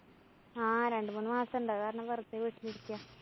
ആ രണ്ടുമൂന്നു മാസണ്ട്. അത് കാരണം വെര്‍തെ വീട്ടിലിരിക്കയാ.